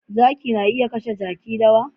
Zaki na iya kashe Jaki dawa